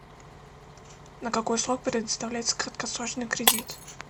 на какой срок предоставляется краткосрочный кредит